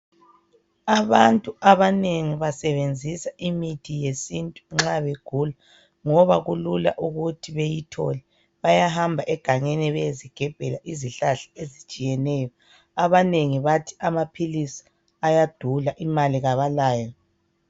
Abantu banengi basebenzisa imithi yesintu nxa begula ngoba kulula ukuthi beyithole bayahmba egangeni beyezigebhela izohlahla ezitshiyeneyo abanengi bathi amaphilisi ayadula imali kabalayo